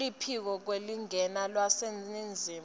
kuluphiko lwemalingena lwaseningizimu